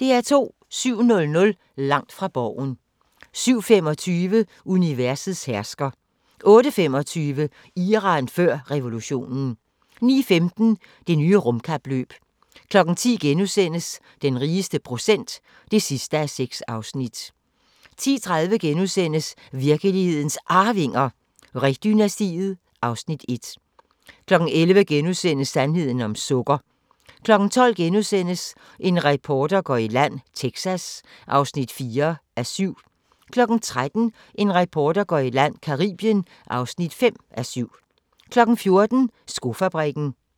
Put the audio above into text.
07:00: Langt fra Borgen 07:25: Universets hersker 08:25: Iran før revolutionen 09:15: Det nye rumkapløb 10:00: Den rigeste procent (6:6)* 10:30: Virkelighedens Arvinger: Ree-dynastiet (Afs. 1)* 11:00: Sandheden om sukker * 12:00: En reporter går i land: Texas (4:7)* 13:00: En reporter går i land: Caribien (5:7) 14:00: Skofabrikken